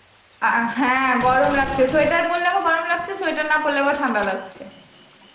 অ্যাঁ হ্যাঁ গরম লাগছে sweater পড়লে আবার গরম লাগছে sweater না পড়লে আবার ঠান্ডা লাগছে